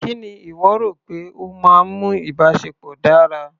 Kí ni ìwọ rò pé ó máa ń mú ìbáṣepọ̀ dára?